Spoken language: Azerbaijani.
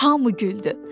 Hamı güldü.